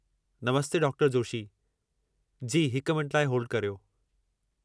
नमस्ते डॉ. जोशी। जी हिक मिंट लाइ होल्ड करियो।